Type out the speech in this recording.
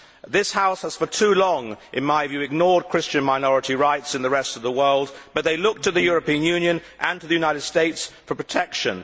This House has for too long, in my view ignored Christian minority rights in the rest of the world, but they look to the European Union and to the United States for protection.